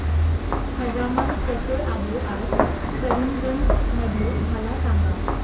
हवामान कसे आहे आज करीमगंज मध्ये मला सांगा